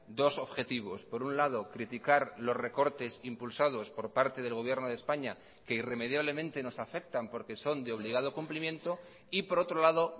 dos objetivos por un lado criticar los recortes impulsados por parte del gobierno de españa que irremediablemente nos afectan porque son de obligado cumplimiento y por otro lado